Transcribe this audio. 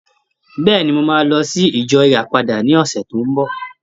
Bẹ́ẹ̀ni, mo máa lọ sí ìjọ Ìràpadà ní ọ̀sẹ̀ tí ó ń bọ̀.